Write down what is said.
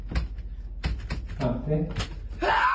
femti